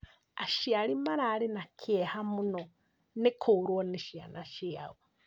Aciari mararĩ na kĩeha mũno nĩ kũrwo nĩ ciana ciao